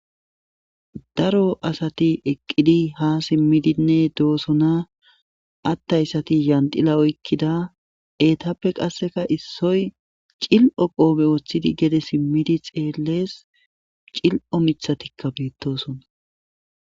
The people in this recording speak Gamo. daro asati eqqidi ha simmidinne doosona atthayssati yandila oykkida eetappe qasseka issoy cil7o qoobe woththidi gede simmidi xeellees cil7o mithatikka biittosona